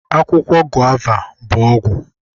Akwụkwọ guava bụ ọgwụ